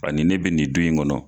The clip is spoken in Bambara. Ani ne bɛ nin dun in kɔnɔ.